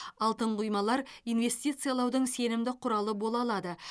алтын құймалар инвестициялаудың сенімді құралы бола алады